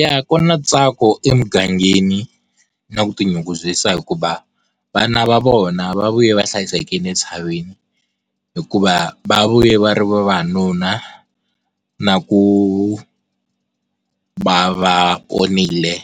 Yah, ku na ntsako emugangeni na ku tinyungubyisa hikuva vana va vona va vuya va hlayisekile entshaveni hikuva va vuye va ri vavanuna na ku va va ponile